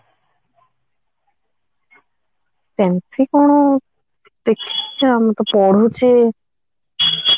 ସେମିତି କଣ ଦେଖିକି ଆମେ ତ ପଢୁଛେ